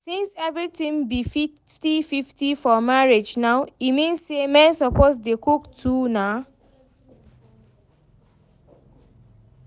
Since everything be fifty fifty for marriage now, e mean say men suppose dey cook too nah